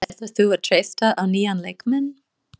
Ætlar þú að treysta á nýja leikmenn?